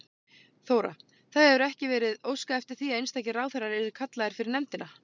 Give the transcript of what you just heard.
Þóra: Það hefur ekki verið óskað eftir því að einstakir ráðherrar yrðu kallaðir fyrir nefndina?